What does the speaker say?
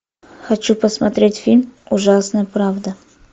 хочу посмотреть фильм ужасная правда